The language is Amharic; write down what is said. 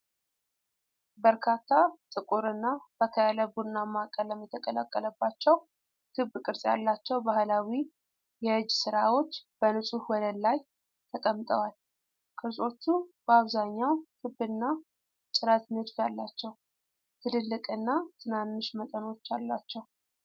በርካታ ጥቁርና ፈካ ያለ ቡናማ ቀለም የተቀላቀለባቸው፣ ክብ ቅርጽ ያላቸው ባህላዊ የእጅ ስራዎች በንጹህ ወለል ላይ ተቀምጠዋል። ቅርጾቹ በአብዛኛው ክብና ጭረት ንድፍ አላቸው። ትልልቅና ትናንሽ መጠኖች አሏቸው።